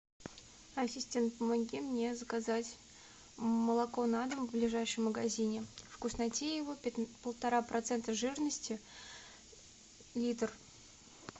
ассистент помоги мне заказать молоко на дом в ближайшем магазине вкуснотеево полтора процента жирности литр